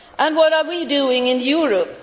What are we doing in Europe?